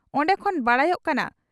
ᱚᱱᱰᱮ ᱠᱷᱚᱱ ᱵᱟᱰᱟᱭᱚᱜ ᱠᱟᱱᱟ